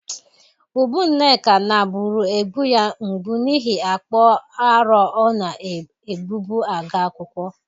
Ubu Nneka naburu egbụ ya mgbụ n'ihe akpa arọ ọ na-egbụbụ aga akwụkwọ.